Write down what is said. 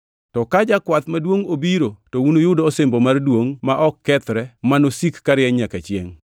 To ka Jakwath Maduongʼ obiro to unuyud osimbo mar duongʼ ma ok kethre ma nosik karieny nyaka chiengʼ.